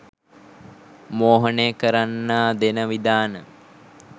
මෝහනය කරන්නා දෙන විධාන